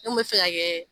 N kun bɛ fɛ ka kɛ